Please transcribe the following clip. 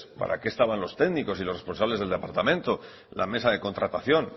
para qué estaban los técnicos y los responsables del departamento la mesa de contratación